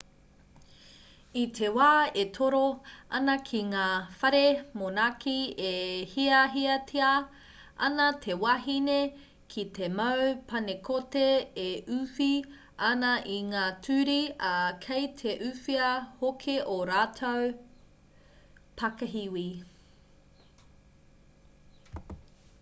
i te wā e toro ana ki ngā whare monaki e hiahiatia ana te wahine ki te mau panekoti e uwhi ana i ngā turi ā kei te uwhia hoki ō rātou pakihiwi